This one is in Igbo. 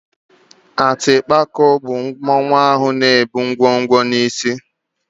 Atịpako bụ mmanwụ na-ebu ngwo ngwo n'isí.